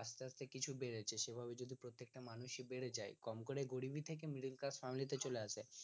আস্তে আস্তে কিছু বেড়েছে সেভাবে যদি প্রত্যেকটা মানুষ ই বেড়ে যায় কম করে গরিবি থেকে middle class family তে চলে আসে